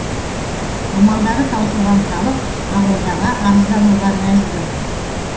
амалдары таусылған халық ақордаға арыздануға мәжбүр